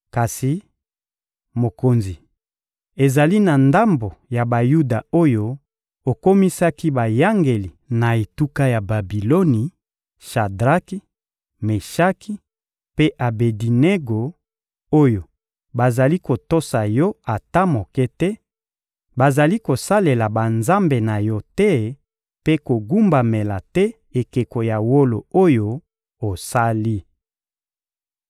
Kasi, mokonzi, ezali na ndambo ya Bayuda oyo okomisaki bayangeli na etuka ya Babiloni: Shadraki, Meshaki mpe Abedinego, oyo bazali kotosa yo ata moke te: bazali kosalela banzambe na yo te mpe kogumbamela te ekeko ya wolo oyo osali.